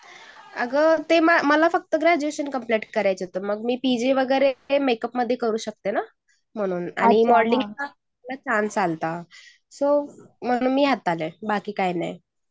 आग मला फक्त ग्रॅज्युएशन कम्प्लिट करायचं होत. मग मी पीजी वगैरे करू शकते ना म्हणून आणि मॉडेलिंग आणि सो म्हणू मी यात आले बाकी काही नाही.